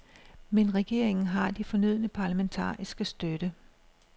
Men regeringen har den fornødne parlamentariske støtte.